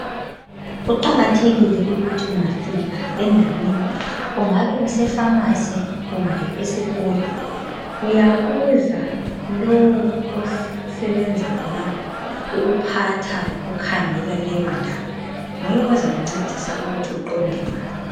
Kuqakathekile ukuthi ungafika endaweni kungabe kusephamarcy kumbe esikolo uyabuza lowu osebenza khonapha ukuphatha lokukhangela leyo ndawo nguye ozakungcedisa ukubana uqonde ngaphi